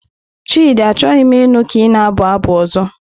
Chidi, Achọghị m ịnụ ka ị na-abụ abụ ọzọ!